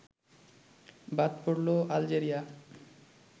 বাদ পড়লো আলজেরিয়া